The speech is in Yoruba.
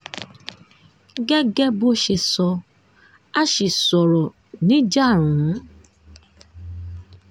gẹ́gẹ́ bó ṣe sọ a ṣì sọ̀rọ̀ níjàrùn-ún